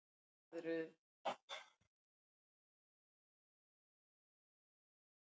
En þau eru ófá.